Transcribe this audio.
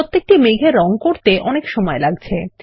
প্রতিটি মেঘকে রঙ করতে অনেক সময় লাগছে